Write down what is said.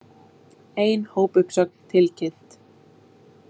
Ein hópuppsögn tilkynnt